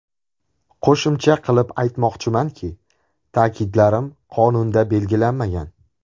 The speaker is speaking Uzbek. Qo‘shimcha qilib aytmoqchimanki, ta’kidlarim qonunda belgilanmagan.